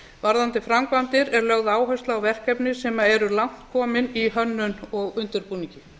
varðandi framkvæmdir er lögð áhersla á verkefni sem eru langt komin í hönnun og undirbúningi